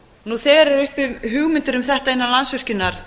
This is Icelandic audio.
nú þegar eru uppi hugmyndir um þetta innan landsvirkjunar